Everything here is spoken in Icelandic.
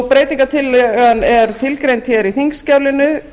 breytingartillagan er tilgreind hér í þingskjalinu